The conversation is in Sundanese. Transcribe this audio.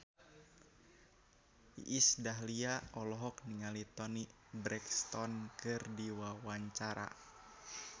Iis Dahlia olohok ningali Toni Brexton keur diwawancara